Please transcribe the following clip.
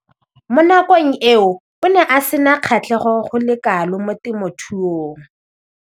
Mo nakong eo o ne a sena kgatlhego go le kalo mo temothuong.